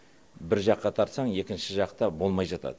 бір жаққа тартсақ екінші жақта болмай жатады